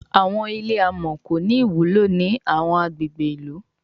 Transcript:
Àwọn ilé amò kò ní ìwúlò ní àwọn agbègbè ilú